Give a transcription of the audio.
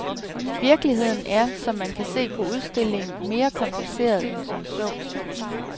Virkeligheden er, som man kan se på udstillingen, mere kompliceret end som så.